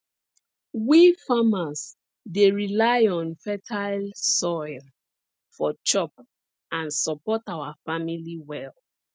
we farmers dey rely on fertile soil for chop and support our family well